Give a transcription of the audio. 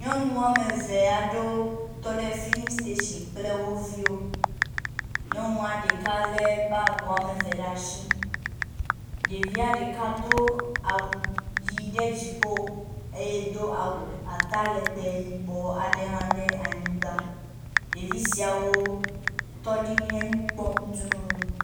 Nyɔnu wome eve aɖewo tɔ ɖe filisitashi kple woviwo. Nyɔnua ɖeka lé bagi wome eve ɖe asi. Ɖevia ɖeka do awu ʋi ɖe dziƒo eye do awu atalegbẽ yibɔ aɖe hã ɖe anyigba. Ɖevi siawo tɔ ɖi henu kpɔm dũu.